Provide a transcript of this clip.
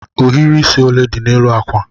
Ohiri isi ole dị n'elu akwa?